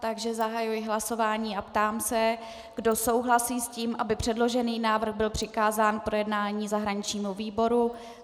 Takže zahajuji hlasování a ptám se, kdo souhlasí s tím, aby předložený návrh byl přikázán k projednání zahraničnímu výboru.